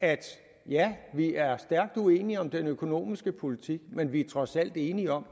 at ja vi er stærkt uenige om den økonomiske politik men vi er trods alt enige om